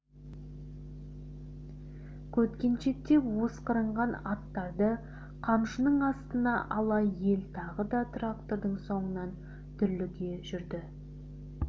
көткеншектеп осқырынған аттарды қамшының астына ала ел тағы да трактордың соңынан дүрліге жүрді